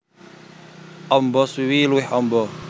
Amba swiwi luwih amba